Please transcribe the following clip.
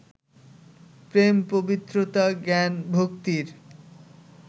প্রেম-পবিত্রতা-জ্ঞান-ভক্তির